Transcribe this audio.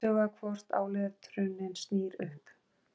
Athuga hvort áletrunin snýr upp.